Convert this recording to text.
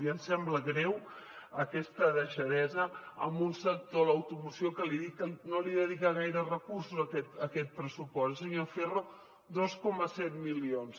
i ens sembla greu aquesta deixadesa en un sector de l’automoció que no li dedica gaire recursos aquest pressupost eh senyor ferro dos coma set milions